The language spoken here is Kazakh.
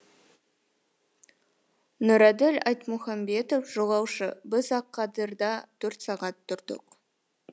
нұрәділ айтмұхамбетов жолаушы біз ақадырда төрт сағат тұрдық